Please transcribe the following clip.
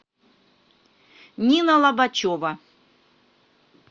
нина лобачева